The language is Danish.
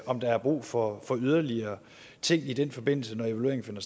om der er brug for for yderligere ting i den forbindelse når den finder